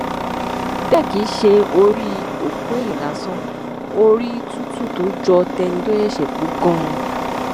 bẹẹ kì í ṣe orí òkú èèyàn lásán orí tútù tó jọ tẹni tó ṣẹṣẹ kú ganan